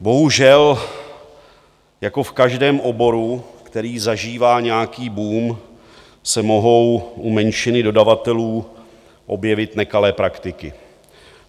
Bohužel jako v každém oboru, který zažívá nějaký boom, se mohou u menšiny dodavatelů objevit nekalé praktiky.